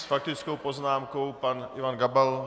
S faktickou poznámkou pan Ivan Gabal.